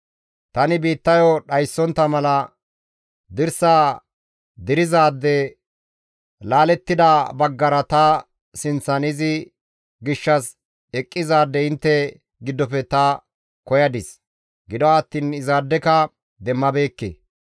«Tani biittayo dhayssontta mala dirsa dirizaade, laalettida baggara ta sinththan izi gishshas eqqizaade intte giddofe ta koyadis; gido attiin issaadeka demmabeekke.